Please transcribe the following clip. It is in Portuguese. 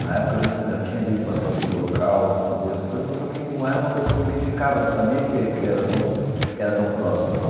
Na época eu já já tinha lido bastante sobre o Holocausto, sobre essas coisas, mas só que não era uma coisa que me identificava, não sabia que que era tão que era tão próximo.